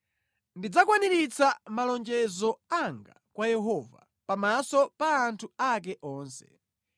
Ndidzakwaniritsa malonjezo anga kwa Yehova pamaso pa anthu ake onse.